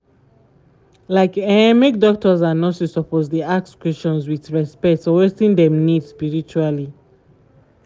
like eh make doctors and nurses suppose dey ask question with respect for wetin dem need spiritually.